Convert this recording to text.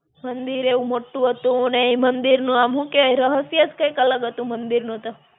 મંદિર એવું મોટ્ટું હતું ને, ઈ મંદિર નું આમ હું કેય રહસ્ય જ કઈંક અલગ હતું મંદિરનું તો.